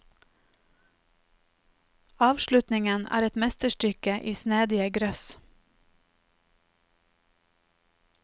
Avslutningen er et mesterstykke i snedige grøss.